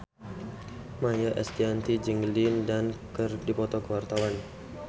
Maia Estianty jeung Lin Dan keur dipoto ku wartawan